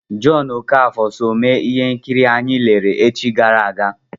Jọn Okafọ so mee ihe nkiri anyị lere echi gara aga.